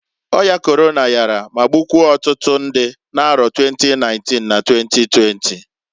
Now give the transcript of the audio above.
Oya Korona yara ma gbukwuo otutu ndị n'arọ 2019 na 2020.